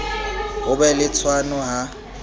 ho be le tshwano ha